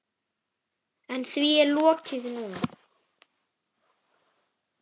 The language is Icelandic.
En því er lokið núna.